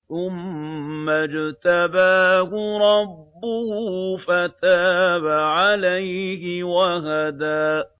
ثُمَّ اجْتَبَاهُ رَبُّهُ فَتَابَ عَلَيْهِ وَهَدَىٰ